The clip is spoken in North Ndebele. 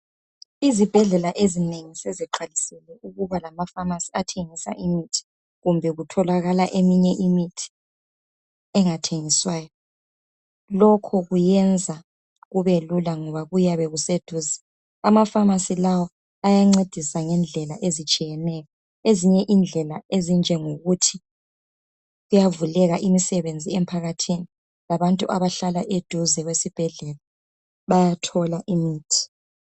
Izibhedlela ezinengi seziqalisile ukuba lamafamasi athengisa imithi kumbe kutholakala eminye imithi engathengiswayo. Lokho kuyenza kube lula ngoba kuyabe kuseduze. Amafamasi lawa ayancedisa ngendlela ezitshiyeneyo. Ezinye indlela ezinjengokuthi kuyavuleka imisebenzi emphakathini labantu abahlala eduze kwesibhedlela bayathola imithi